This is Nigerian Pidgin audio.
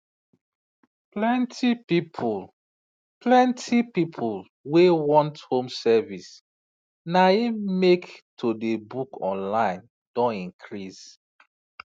plenti people plenti people wey want home service na im make to dey book online don increase